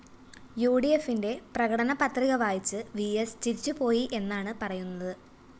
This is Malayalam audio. യുഡിഎഫിന്റെ പ്രകടന പത്രിക വായിച്ച് വിഎസ് ചിരിച്ചുപോയിയെന്നാണ് പറയുന്നത്